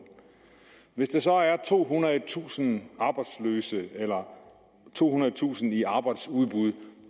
hvis der så er tohundredetusind arbejdsløse eller tohundredetusind i arbejdsudbud